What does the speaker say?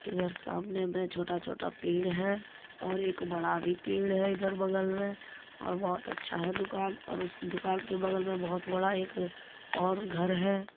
इधर सामने में छोटा छोटा पेड़ है और एक बड़ा भी पेड़ है इधर बगल में और बहुत अच्छा है दुकान और उस दुकान के बगल में बहुत बड़ा और घर है।